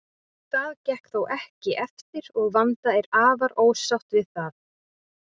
Það gekk þó ekki eftir og Vanda er afar ósátt við það.